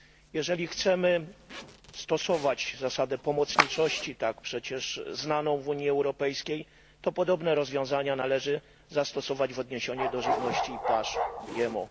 Jeżeli chcemy stosować zasadę pomocniczości tak przecież znaną w Unii Europejskiej to podobne rozwiązania należy zastosować w odniesieniu do żywności i pasz GMO.